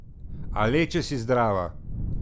A le, če si zdrava.